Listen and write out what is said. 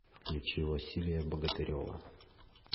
включи василия богатырева